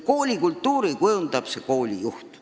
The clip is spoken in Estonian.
Kooli kultuuri kujundab koolijuht.